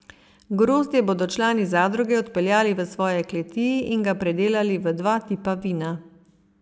Grozdje bodo člani zadruge odpeljali v svoje kleti in ga predelali v dva tipa vina.